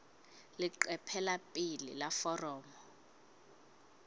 leqephe la pele la foromo